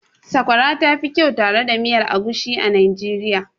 Sakwara ta fi kyau tare da miya egusi a Najeriya.